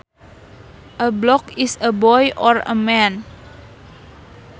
A bloke is a boy or a man